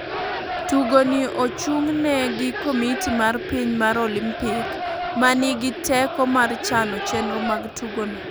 Tugo ni ochungne gi komiti mar piny mar Olimpik ma ni gi teko mar chano chenro mag tugo no,